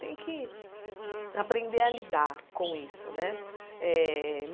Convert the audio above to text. Tem que aprender a lidar com isso, né? Eh